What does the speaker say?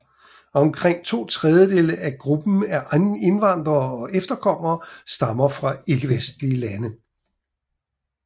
Omkring to tredjedele af gruppen af indvandrere og efterkommere stammer fra ikkevestlige lande